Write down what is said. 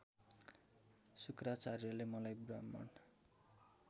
शुक्राचार्यले मलाई ब्राह्मण